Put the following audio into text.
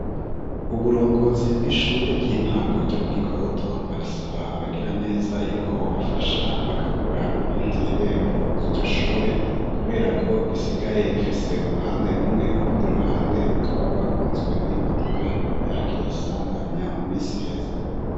Uburongozi bw'ishure ry'intango ryo mu Gikoto barasaba abagira neza yuko bobafasha bakagura iyindi rembo ry'iryo shure kuberako risigaye rifise uruhande rumwe urundi ruhande rukaba gwagunzwe n'imodoka yahagiriye isanganya mu minsi iheze.